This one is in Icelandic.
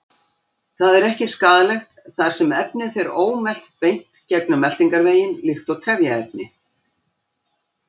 Það er ekki skaðlegt þar sem efnið fer ómelt beint gegnum meltingarveginn líkt og trefjaefni.